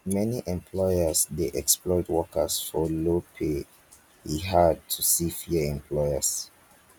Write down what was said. many employers dey exploit workers for low pay e hard to see fair employers